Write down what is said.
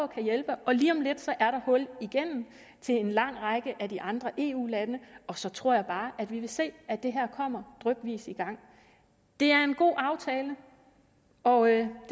kan hjælpe og lige om lidt er der hul igennem til en lang række af de andre eu lande og så tror jeg bare at vi vil se at det her kommer drypvis i gang det er en god aftale og jeg